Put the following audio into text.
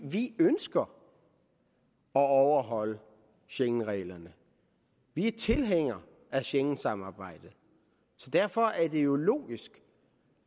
vi ønsker at overholde schengenreglerne vi er tilhængere af schengensamarbejdet så derfor er det jo logisk